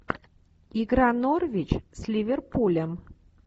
игра норвич с ливерпулем